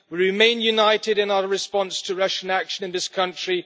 We remain united in our response to Russian action in this country.